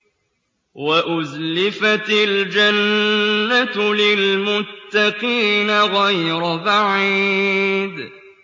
وَأُزْلِفَتِ الْجَنَّةُ لِلْمُتَّقِينَ غَيْرَ بَعِيدٍ